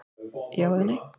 Já eða nei?